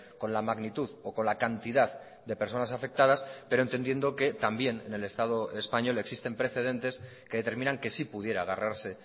con la magnitud o con la cantidad de personas afectadas pero entendiendo que también en el estado español existen precedentes que determinan que sí pudiera agarrarse